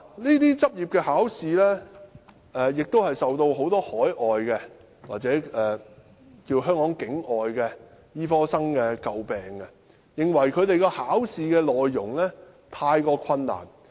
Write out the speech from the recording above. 這些執業考試受到很多海外或香港境外醫科學生詬病，認為考試的內容太難。